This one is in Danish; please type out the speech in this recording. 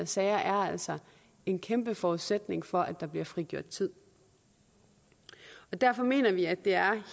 sager er altså en kæmpe forudsætning for at der bliver frigjort tid og derfor mener vi at det er